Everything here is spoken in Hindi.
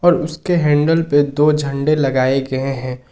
उसके हैंडल पे दो झंडे लगाए गए है।